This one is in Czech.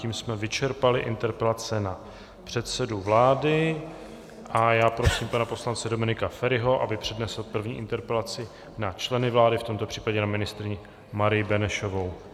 Tím jsme vyčerpali interpelace na předsedu vlády a já prosím pana poslance Dominika Feriho, aby přednesl první interpelaci na členy vlády, v tomto případě na ministryni Marii Benešovou.